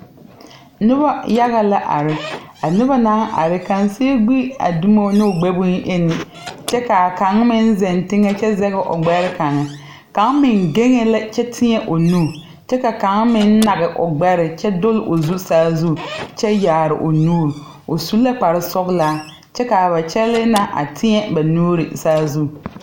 Nobɔ yaga la are, a noba naŋ are kaŋ siu gbi a dumo n'o gbɛboyeni kyɛ k'a kaŋ meŋ zeŋ teŋɛ kyɛ zɛg o gbɛr kaŋe. Kaŋ meŋ geŋee la kyɛ tẽɛ o nu, kyɛ kaŋa meŋ nage o gbɛre kyɛ dol o zu saazu kyɛ yaar o nuur, o su la kparsɔglaa. Kyɛ k'a ba kyɛlee na a tẽɛ ba nuuri saazu.